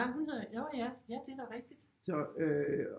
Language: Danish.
Nå hun hedder nå ja ja det er da rigtigt